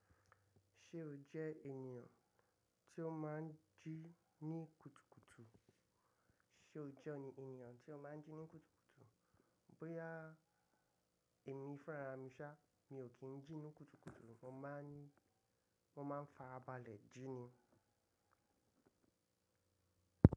Ṣé o jẹ́ ènìyàn tí ó máa ń jí ní kùtùkùtù? Ṣé o jẹ́ ènìyàn tí ó máa ń jí ní kùtùkùtù? Bóyá èmi fúnra mi ṣá, mi ò kí ń jí ní kùtùkùtù, mo máa ń ní, mo máa ń farabálẹ̀ jí ni.